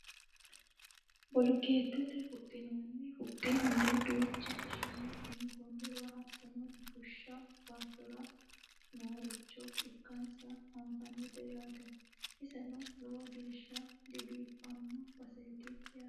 bolokeettetenni huxxinoonni huxxi mule duucha ishine tunganniwa hattono bushshu baattora nooricho ikkansa anfannite yaate iseno lowo geeshsha dibiiffanno baseeti yaate